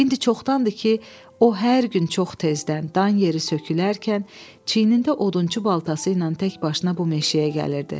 İndi çoxdandır ki, o hər gün çox tezdən, dan yeri sökülərkən çiyinində odunçu baltası ilə təkbaşına bu meşəyə gəlirdi.